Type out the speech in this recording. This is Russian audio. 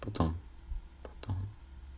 потом потом